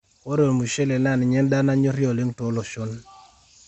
ore ormushele naa ninye en'daa nanyori ole'ng too loshon